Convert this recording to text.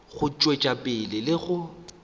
go tšwetša pele le go